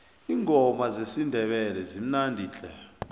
iingoma zesindebele zimnandi tle